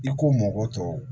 I ko mɔgɔ tɔw